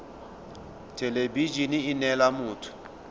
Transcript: thelebi ene e neela motho